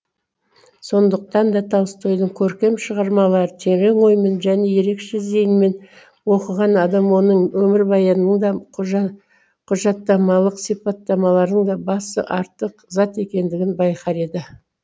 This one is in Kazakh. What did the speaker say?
сондықтан да толстойдың көркем шығармаларын терең оймен және ерекше зейінмен оқыған адам оның өмірбаянының да құжа құжаттамалық сипаттауларының да басы артық зат екендігін байқар еді